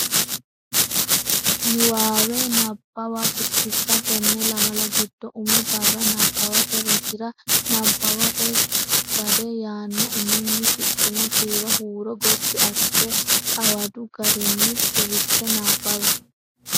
Niwaawe Nabbawa Biddissa Tenne lamala giddo umi barra nabbawate rosira “Nabbawate Gade” yaanno uminni shiqqino kiiro huuro gotti assite xawadu garinni suwisse nabbawi.